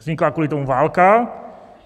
Vznikla kvůli tomu válka.